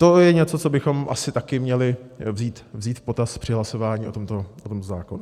To je něco, co bychom asi taky měli vzít v potaz při hlasování o tomto zákonu.